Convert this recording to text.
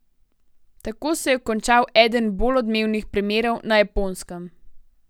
Tako se je končal eden bolj odmevnih primerov na Japonskem.